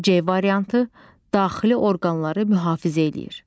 C variantı: Daxili orqanları mühafizə eləyir.